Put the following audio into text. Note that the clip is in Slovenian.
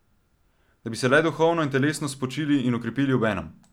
Da bi se le duhovno in telesno spočili in okrepili obenem!